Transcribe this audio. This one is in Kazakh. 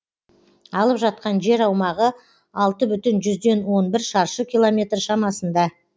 алып жатқан жер аумағы алты бүтін жүзден он бір шаршы километр шамасында